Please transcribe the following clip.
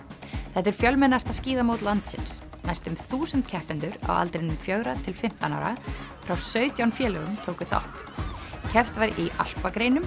þetta er fjölmennasta skíðamót landsins næstum þúsund keppendur á aldrinum fjögurra til fimmtán ára frá sautján félögum tóku þátt keppt var í alpagreinum